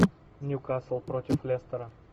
ньюкасл против лестера